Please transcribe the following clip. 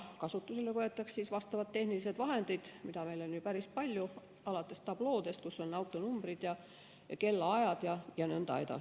Kasutusele võetakse vastavad tehnilised vahendid, mida on päris palju, alates tabloodest, kus on autonumbrid, kellaajad jne.